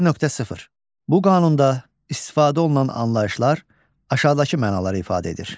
1.0. Bu qanunda istifadə olunan anlayışlar aşağıdakı mənaları ifadə edir.